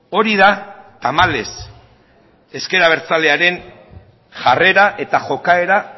hori da tamalez ezker abertzalearen jarrera eta jokaera